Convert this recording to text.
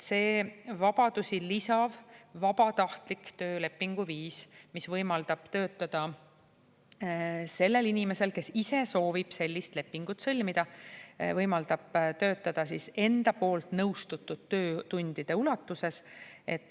See vabadusi lisav vabatahtlik töölepingu viis, mis võimaldab töötada sellel inimesel, kes ise soovib sellist lepingut sõlmida, võimaldab töötada siis enda poolt nõustutud töötundide ulatuses.